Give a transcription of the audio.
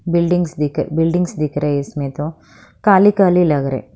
buildings दिख buildings दिख रही इसमें तो काली काली लग रहे--